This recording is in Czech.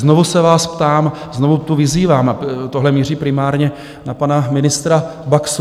Znovu se vás ptám, znovu tu vyzývám - a tohle míří primárně na pana ministra Baxu.